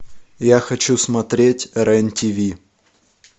я хочу смотреть рен тв